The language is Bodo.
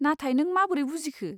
नाथाय नों माबोरै बुजिखो?